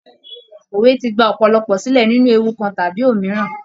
Òwe ti gba òpòlopò silẹ nínú ewu kan tàbí òmíràn.